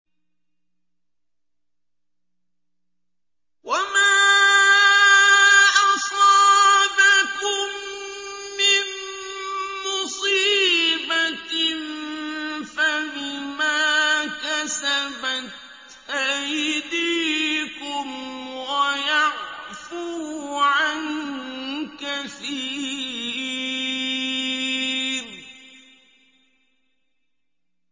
وَمَا أَصَابَكُم مِّن مُّصِيبَةٍ فَبِمَا كَسَبَتْ أَيْدِيكُمْ وَيَعْفُو عَن كَثِيرٍ